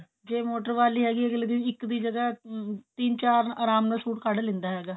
ਜੇ ਮੋਟਰ ਵਾਲੀ ਹੈਗੀ ਅਗਲੇ ਦਿਨ ਇੱਕ ਦੀ ਜਗ੍ਹਾ ਤਿੰਨ ਚਾਰ ਆਰਾਮ ਨਾਲ suit ਕੱਢ ਲਿੰਦਾ ਹੈਗਾ